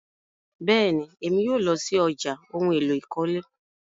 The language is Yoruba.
Bẹ́ẹ̀ni, Emi yóò lọ sí ọ̀já ohun èlò ìkọ́lé